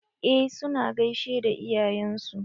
Eh su na gaishe da iyayen su.